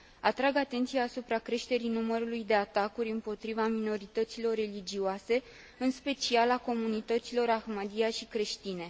Atrag atenția asupra creșterii numărului de atacuri împotriva minorităților religioase, în special a comunităților Ahmadia și creștine.